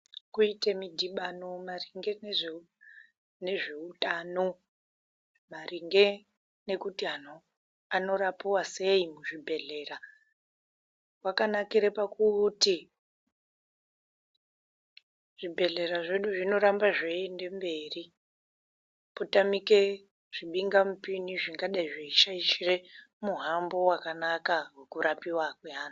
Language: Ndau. Kuite mudhibano maringe ngezveitano maringe ngekuti vantu anorapiva sei kuzvibhedhlera. Kwakanakire pakuti zvibhedhlera zvedu zvinoramba zveienda mberi. Potamike zvimhingamupini zvingadai zvechitye muhambo vakanaka vekurapiva kwevantu.